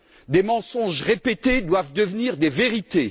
Des mensonges répétés doivent devenir des vérités.